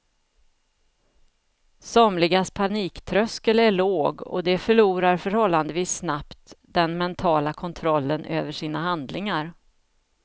Somligas paniktröskel är låg och de förlorar förhållandevis snabbt den mentala kontrollen över sina handlingar.